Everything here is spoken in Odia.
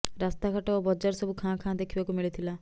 ରାସ୍ତାଘାଟ ଓ ବଜାର ସବୁ ଖାଁ ଖାଁ ଦେଖିବାକୁ ମିଳିଥିଲା